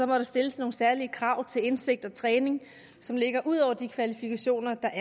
må der stilles nogle særlige krav til indsigt og træning som ligger ud over de kvalifikationer der